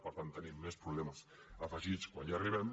per tant tenim més problemes afegits quan hi arribem